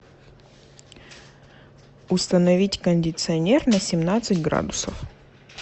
установить кондиционер на семнадцать градусов